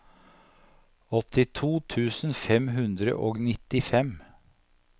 åttito tusen fem hundre og nittifem